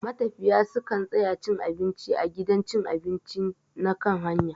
Matafiya su kan tsaya cin abinci a gidan cin abinci na kan hanya.